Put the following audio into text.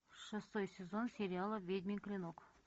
шестой сезон сериала ведьмин клинок